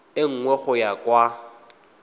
e nngwe go ya kwa